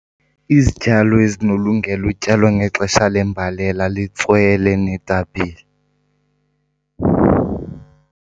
Izityalo ezinolungela utyalwa ngexesha lembalela litswele neetapile.